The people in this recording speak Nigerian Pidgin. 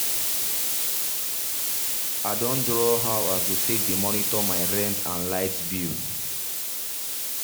i done draw how i go take dey monitor my rent and light bill